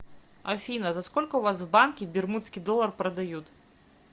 афина за сколько у вас в банке бермудский доллар продают